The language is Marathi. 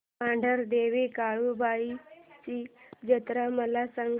मांढरदेवी काळुबाई ची जत्रा मला सांग